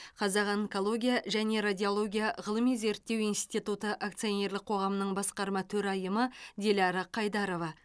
қазақ онкология және радиология ғылыми зерттеу институты акционерлік қоғамның басқарма төрайымы диляра қайдарова